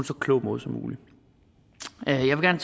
så klog måde som muligt jeg vil